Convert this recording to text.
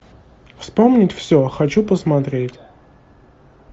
вспомнить все хочу посмотреть